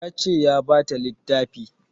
Ya ce ya bata littafi